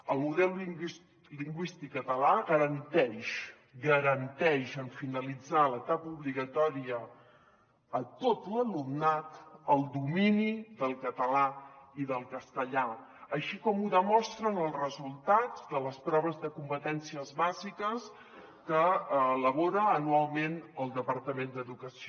el model lingüístic català garanteix garanteix en finalitzar l’etapa obligatòria a tot l’alumnat el domini del català i del castellà així com ho demostren els resultats de les proves de competències bàsiques que elabora anualment el departament d’educació